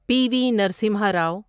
پی V Narasimha رو